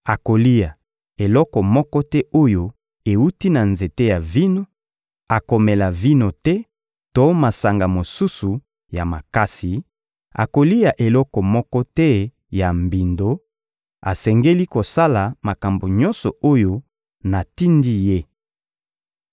Akolia eloko moko te oyo ewuti na nzete ya vino, akomela vino te to masanga mosusu ya makasi, akolia eloko moko te ya mbindo; asengeli kosala makambo nyonso oyo natindi ye.